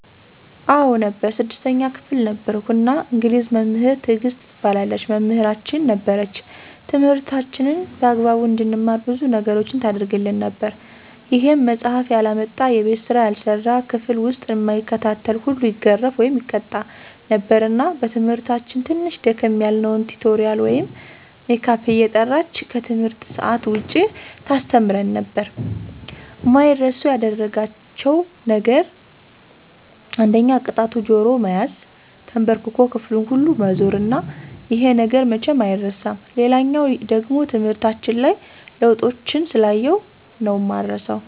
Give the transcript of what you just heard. አዎ ነበር 6ተኛ ክፍል ነበርኩ እና እንግሊዝ መምህር ትግስት ትባላለች መምህራችን ነበረች ትምህርታችንን በአግባቡ እንድንማር ብዙ ነገሮችን ታረግልን ነበር ይሄም መፃሐፍ ያላመጣ፣ የቤት ስራ ያልሰራ፣ ክፍል ዉስጥ እማይከታተል ሁሉ ይገረፍ( ይቀጣ ) ነበር እና በትምህርታችን ትንሽ ደከም ያልነዉን ቲቶሪያል ወይም ሜካፕ እየጠራች ከትምህርት ሰአት ዉጭ ታስተምረን ነበር። አማይረሱ ያደረጋቸዉ ነገር አንደኛ ቅጣቱ ጆሮ መያዝ፣ ተንበርክኮ ክፍሉን ሁሉ መዞር እና ይሄ ነገር መቼም አይረሳም። ሌላኛዉ ደሞ ትምህርታችን ላይ ለዉጦችን ስላየሁ ነዉ እማረሳዉ።